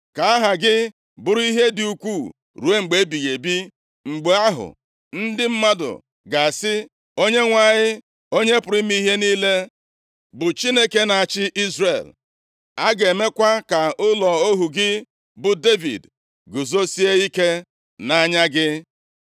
Ka aha gị bụrụ ihe dị ukwuu ruo mgbe ebighị ebi. Mgbe ahụ, ndị mmadụ ga-asị, ‘ Onyenwe anyị, Onye pụrụ ime ihe niile, bụ Chineke na-achị Izrel’ A ga-emekwa ka ụlọ ohu gị bụ Devid guzosie ike nʼanya gị.